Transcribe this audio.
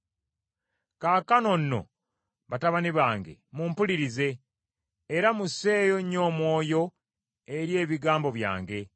Kaakano nno batabani bange mumpulirize, era musseeyo nnyo omwoyo eri ebigambo byange.